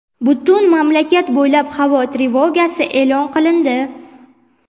Butun mamlakat bo‘ylab havo trevogasi e’lon qilindi.